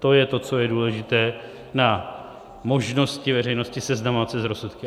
To je to, co je důležité na možnosti veřejnosti seznamovat se s rozsudky.